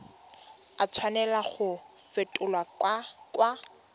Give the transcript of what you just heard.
a tshwanela go fetolwa kwa